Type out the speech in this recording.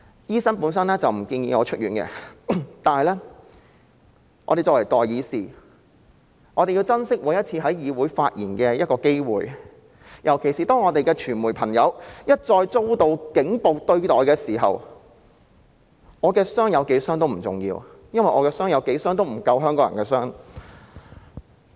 醫生本來不建議我出院，但我們作為代議士，必須珍惜每次在議會發言的機會，尤其是當傳媒朋友一再遭到"警暴"對待時，我的傷勢有多嚴重都不重要，因為即使我的傷勢多嚴重，亦不及香港人的傷勢。